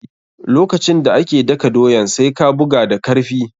Lokacin da ake daka doyan, sai ka buga da karfi.